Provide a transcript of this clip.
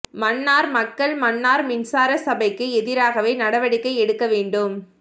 மன்னார் மக்கள் மன்னார் மின்சார சபைக்கு எதிராகவே நடவடிக்கை எடுக்க வேண்டும்